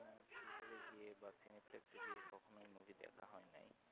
Theatre এ গিয়ে বা film flex কখনোই Movie দেখা হয় নাই